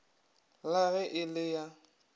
la ge e le ya